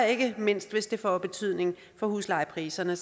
ikke mindst hvis det får betydning for huslejepriserne